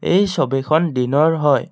এই ছবিখন দিনৰ হয়।